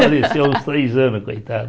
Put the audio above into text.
Faleceu, há uns três anos, coitada.